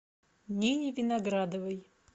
нине виноградовой